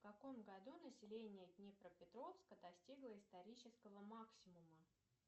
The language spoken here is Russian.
в каком году население днепропетровска достигло исторического максимума